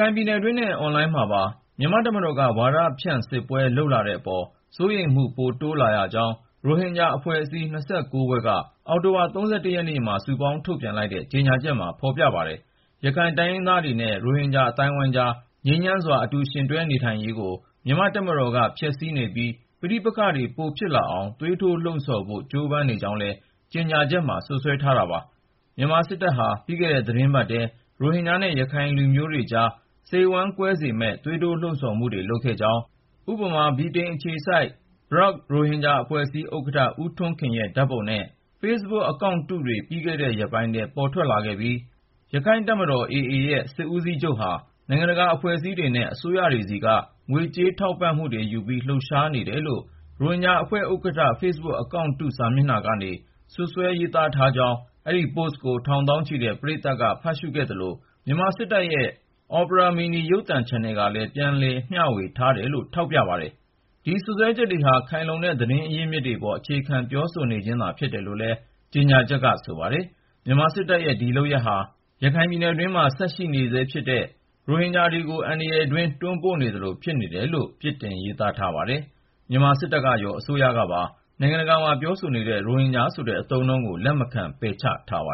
ိုင်ပြည်နယ်တွင်းနဲ့ အွန်လိုင်းမှာပါ မြန်မာ့တပ်မတော်က ဝါဒဖြန့်စစ်ပွဲ လုပ်လာတဲ့အပေါ် စိုးရိမ်မှု ပိုတိုးလာရကြောင်း ရိုဟင်ဂျာအဖွဲ့အစည်း ၂၉ ဖွဲ့က အောက်တိုဘာ ၃၁ ရက်နေ့မှာ စုပေါင်းထုတ်ပြန်လိုက်တဲ့ ကြေညာချက်မှာ ဖော်ပြထားပါတယ်။ ရခိုင်တိုင်းရင်းသားတွေနဲ့ ရိုဟင်ဂျာ အသိုင်းအဝိုင်းကြား ငြိမ်းချမ်းစွာ အတူယှဉ်တွဲနေထိုင်ရေးကို မြန်မာ့တပ်မတော်က ဖျက်ဆီးနေပြီး ပဋိပက္ခတွေ ပိုဖြစ်လာအောင် သွေးထိုးလှုံ့ဆော်ဖို့ ကြိုးပမ်းနေကြောင်းလည်း ကြေညာချက်ထဲမှာ စွပ်စွဲထားတာပါ။ မြန်မာစစ်တပ်ဟာ ပြီးခဲ့တဲ့ သီတင်းပတ်ထဲ ရိုဟင်ဂျာနဲ့ ရခိုင်လူမျိုးတွေကြား စိတ်ဝမ်းကွဲစေမယ့် သွေးထိုးလှုံ့ဆော်မှုတွေ လုပ်ခဲ့ကြောင်း၊ ဥပမာ ဗြိတိန်အခြေစိုက် BROUK ရိုဟင်ဂျာအဖွဲ့ ဥက္ကဋ္ဌ ဦးထွန်းခင်ရဲ့ ဓာတ်ပုံနဲ့ Facebook အကောင့်တုတွေ ပြီးခဲ့တဲ့ရက်ပိုင်းထဲ ထွက်ပေါ်လာခဲ့ပြီး ရခိုင့်တပ်မတော် AA ရဲ့ စစ်ဦးစီးချုပ်ဟာ နိုင်ငံတကာ အဖွဲ့အစည်းတွေနဲ့ အစိုးရတွေဆီက ငွေကြေးထောက်ပံ့မှုယူပြီး လှုပ်ရှားနေတယ်လို့ ရိုဟင်ဂျာအဖွဲ့ ဥက္ကဋ္ဌ Facebook အကောင့်တု စာမျက်နှာကနေ စွပ်စွဲ ရေးသားထားကြောင်း၊ အဲဒီ post ကို ထောင်သောင်းချီတဲ့ ပရိသတ်က ဖတ်ခဲ့ကြသလို မြန်မာစစ်တပ်ရဲ့ Opera Mini ရုပ်သံချန်နယ်ကလည်း ပြန်ဝေမျှထားတယ်လို့ ထောက်ပြပါတယ်။ ဒီစွပ်စွဲချက်တွေဟာ ခိုင်လုံတဲ့ သတင်းရင်းမြစ် အများအပြားပေါ် အခြေခံ ပြောဆိုနေခြင်းသာ ဖြစ်တယ်လို့လည်း ကြေညာချက်က ဆိုပါတယ်။ မြန်မာစစ်တပ်ရဲ့ ဒီလုပ်ရပ်ဟာ ရခိုင်ပြည်တွင်း ဆက်ရှိနေဆဲဖြစ်တဲ့ ရိုဟင်ဂျာ ၆ သိန်းကို အန္တရာယ်တွင်းထဲ တွန်းပို့သလို ဖြစ်နေတယ်လို့ ပြစ်တင် ရေးသားထားပါတယ်။ မြန်မာစစ်တပ်ကရော အစိုးရကပါ နိုင်ငံတကာမှာ ပြောနေတဲ့ ရိုဟင်ဂျာဆိုတဲ့ အသုံးအနှုန်းကို လက်မခံ ပယ်ချထားပါ